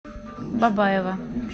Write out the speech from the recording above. бабаево